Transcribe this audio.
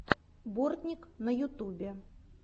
бортник на ютубе